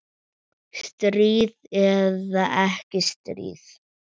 Stríð eða ekki stríð.